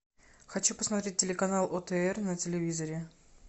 хочу посмотреть телеканал отр на телевизоре